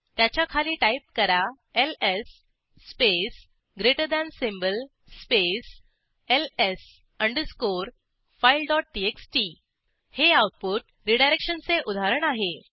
त्याच्याखाली टाईप करा LS space greater than space LS underscore file TXT हे आऊटपुट रीडायरेक्शनचे उदाहरण आहे